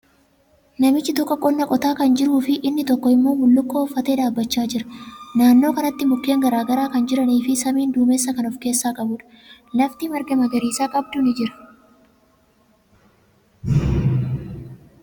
Namichi tokko qonna qotaa kan jiruu fi inni tokko immoo bullukkoo uffatee dhaabbachaa jira. Naannoo kanatti mukkeen garagaraa kan jiranii fi samiin duumessa kan of keessaa qabuudha. Lafti marga magariisa qabdu ni jira.